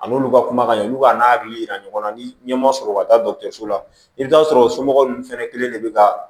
An n'olu ka kuma ka ɲi olu b'a n'a hakili yira ɲɔgɔn na ni ɲɛ ma sɔrɔ u ka taa so la i bɛ taa sɔrɔ o somɔgɔw fɛnɛ kelen de bɛ ka